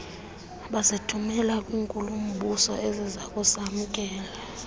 bazithumela kwinkulu mbusoezakusamkela